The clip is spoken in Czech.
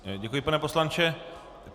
Děkuji, pane poslanče.